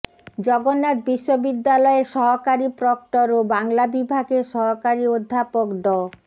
জগন্নাথ বিশ্ববিদ্যালয়ের সহকারী প্রক্টর ও বাংলা বিভাগের সহকারী অধ্যাপক ড